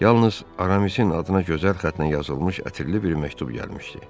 Yalnız Aramisin adına gözəl xəttlə yazılmış ətirli bir məktub gəlmişdi.